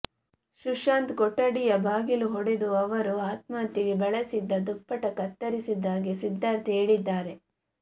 ಸುಶಾಂತ್ ಕೊಠಡಿಯ ಬಾಗಿಲು ಒಡೆದು ಅವರು ಆತ್ಮಹತ್ಯೆಗೆ ಬಳಸಿದ್ದ ದುಪ್ಪಟ್ಟ ಕತ್ತರಿಸಿದ್ದಾಗಿ ಸಿದ್ಧಾರ್ಥ್ ಹೇಳಿದ್ದಾರೆ